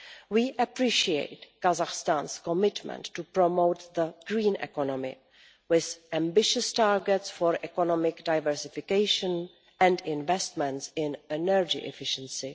We appreciate Kazakhstan's commitment to promote the green economy with ambitious targets for economic diversification and investments in energy efficiency.